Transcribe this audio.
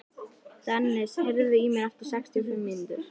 Dennis, heyrðu í mér eftir sextíu og fimm mínútur.